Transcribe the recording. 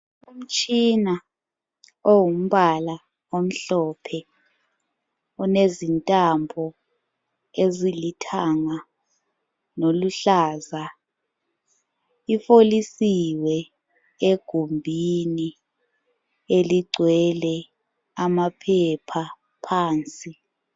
Umtshina ongumbala omhlophe olezintambo ezilithanga loluhlaza ifolisiwe egumbini eligcwele amaphepha phansi.